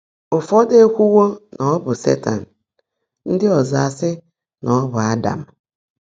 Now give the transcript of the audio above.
Ụfọ́dụ́ ékwúwó ná ọ́ bụ́ Sétan; ndị́ ọ́zọ́ ásị́ ná ọ́ bụ́ Ádám.